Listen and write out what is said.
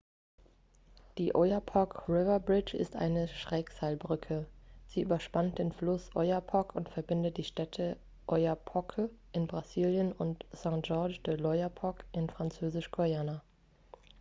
die oyapock river bridge ist eine schrägseilbrücke sie überspannt den fluss oyapock und verbindet die städte oiapoque in brasilien und saint-georges de l'oyapock in französisch-guayana